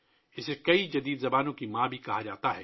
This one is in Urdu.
اسے بہت سی جدید زبانوں کی ماں بھی کہا جاتا ہے